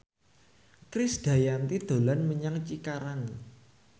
Krisdayanti dolan menyang Cikarang